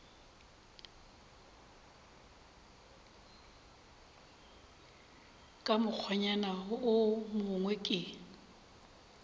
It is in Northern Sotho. ka mokgwanyana wo mongwe ke